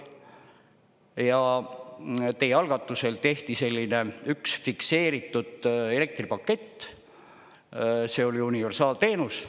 Ja teie algatusel tehti selline üks fikseeritud elektripakett, see oli universaalteenus.